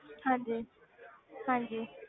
ਹਾਂਜੀ ਹਾਂਜੀ